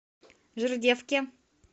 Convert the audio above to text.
жердевке